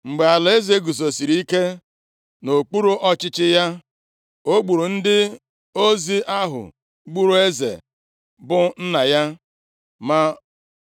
Mgbe alaeze guzosiri ike nʼokpuru ọchịchị ya, o gburu ndị ozi ahụ gburu eze, bụ nna ya.